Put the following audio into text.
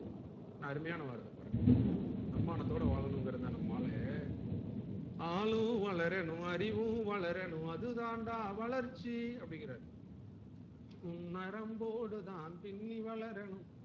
என்ன அருமையான வார்த்தை பாருங்க தன்மானத்தோடு வாழனும்ங்குறத நம்ம ஆளு ஆளும் வளரனும் அறிவும் வளரனும் அதுதாண்டா வளர்ச்சி அப்டிங்கறாரு உன் நரம்போடு தான் பின்னி வளரனும்